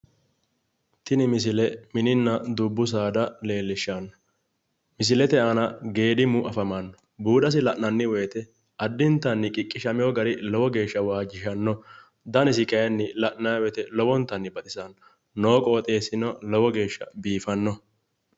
Tini misile mininna dubbu saada leellishshanno. Misilete aana geedimu afamanno. Buudasi la'nayi woyite addintanni qiqqishamiwo gari lowo geeshsha waajjishanno. Danisi kayinni la'nayi woyite lowo geeshsha baxisanno. Noo qooxeessino lowo geeshsha biifannoho.